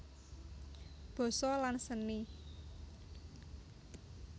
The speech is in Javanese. Basa dan Seni